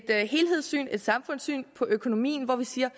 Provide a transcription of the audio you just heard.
helhedssyn et samfundssyn på økonomien hvor vi siger